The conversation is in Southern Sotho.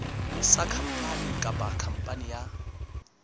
sa khampani kapa khampani ya